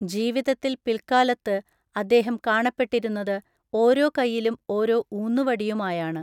ജീവിതത്തിൽ പിൽക്കാലത്ത് അദ്ദേഹം കാണപ്പെട്ടിരുന്നത് ഓരോ കയ്യിലും ഓരോ ഊന്നുവടിയുമായാണ്.